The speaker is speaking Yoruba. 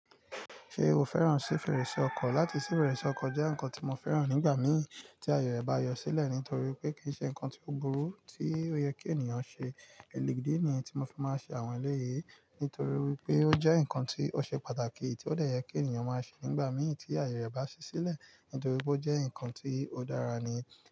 Ṣé o fẹ́ràn sí fèrèsé ọkọ̀? Láti sí fèrèsé ọkọ̀ jẹ́ nǹkan tí mo fẹ́ràn nígbà mí tí àyè ba yọ sílẹ̀ nítorí pé kì í ṣe nǹkan tí ó burú tí ó yẹ kí ènìyàn ṣe. Elegéde ni yẹn tí mo fi máa ń ṣe àwọn eléyìí nítorí pé ó jẹ́ nǹkan tí ó ṣe pàtàkì tí ó dẹ̀ yẹ kí ènìyàn máa ṣe nígbà mí tí àyè ba ṣí sílẹ̀ nítorí pé ó jẹ́ nǹkan tí ó dára ni.